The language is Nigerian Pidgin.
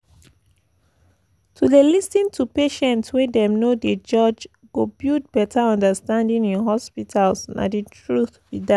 to dey lis ten to patients wey dem no dey judge go build better understanding in hospitals nah the truth be dat.